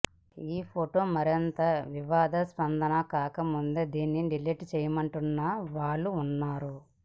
ఈ ఫొటో మరింత వివాదాస్పదం కాకముందే దీనిని డిలీట్ చేయమంటున్న వాళ్ళూ ఉన్నారు